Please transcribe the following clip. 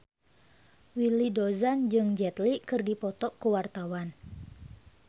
Willy Dozan jeung Jet Li keur dipoto ku wartawan